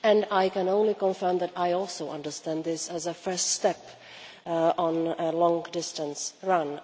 I can only confirm that I also understand this as a first step on a long distance run.